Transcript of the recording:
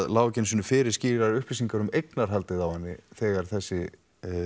lágu ekki einu sinni fyrir skýrar upplýsingar um eignarhaldið á henni þegar þessi